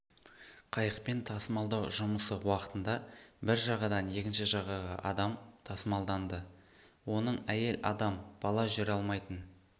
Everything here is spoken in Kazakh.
қайықпен тасымалдау жұмысы уақытында бір жағадан екінші жағаға адам тасымалданды оның әйел адам бала жүре алмайтын